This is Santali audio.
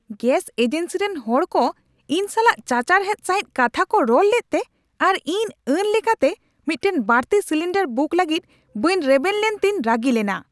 ᱜᱮᱥ ᱮᱡᱮᱱᱥᱤ ᱨᱮᱱ ᱦᱚᱲᱠᱚ ᱤᱧ ᱥᱟᱞᱟᱜ ᱪᱟᱪᱟᱨᱦᱟᱫ ᱥᱟᱹᱦᱤᱡ ᱠᱟᱛᱷᱟᱠᱚ ᱨᱚᱲ ᱞᱮᱫᱛᱮ ᱟᱨ ᱤᱧᱱ ᱟᱹᱱ ᱞᱮᱠᱟᱛᱮ ᱢᱤᱫᱴᱟᱝ ᱵᱟᱹᱲᱛᱤ ᱥᱤᱞᱤᱱᱰᱟᱨ ᱵᱩᱠ ᱞᱟᱹᱜᱤᱫ ᱵᱟᱹᱧ ᱨᱮᱵᱮᱱ ᱞᱮᱱᱛᱮᱧ ᱨᱟᱹᱜᱤ ᱞᱮᱱᱟ ᱾